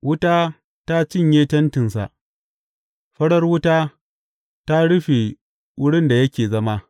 Wuta ta cinye tentinsa; farar wuta ta rufe wurin da yake zama.